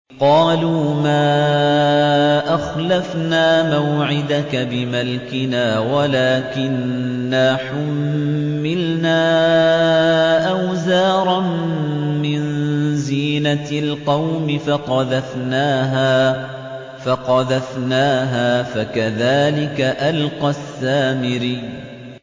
قَالُوا مَا أَخْلَفْنَا مَوْعِدَكَ بِمَلْكِنَا وَلَٰكِنَّا حُمِّلْنَا أَوْزَارًا مِّن زِينَةِ الْقَوْمِ فَقَذَفْنَاهَا فَكَذَٰلِكَ أَلْقَى السَّامِرِيُّ